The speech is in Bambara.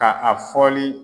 Ka a fɔli